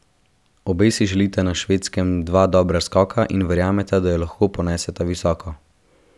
Obe si želita na Švedskem dva dobra skoka in verjameta, da ju lahko poneseta visoko.